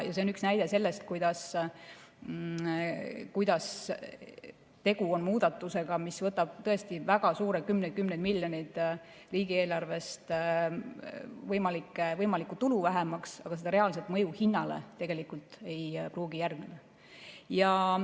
See on üks näide sellest, kuidas tegu on muudatusega, mis võtab tõesti väga suure, kümneid-kümneid miljoneid riigieelarvest võimalikku tulu vähemaks, aga reaalset mõju hinnale tegelikult ei pruugi järgneda.